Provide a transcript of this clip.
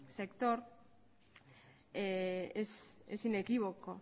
sector es inequívoco